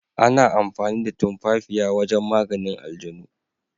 Ana amfani da tumafafiya wajen maganin aljanu.